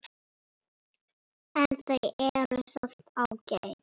En þau eru samt ágæt.